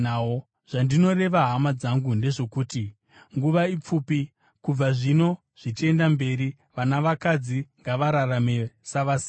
Zvandinoreva hama dzangu, ndezvokuti nguva ipfupi. Kubva zvino zvichienda mberi vana vakadzi ngavararame savasina;